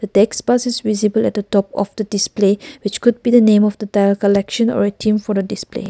text pass is visible at a top of the display which could be the name of the tile collection or a theme for a display.